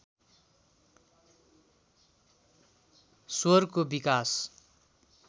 स्वरको विकास